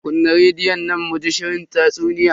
Kunna rediyon nan muji shirin tatsuniya.